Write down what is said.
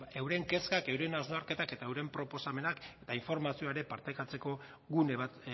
euren kezkak euren hausnarketak eta euren proposamenak eta informazioa ere partekatzeko gune bat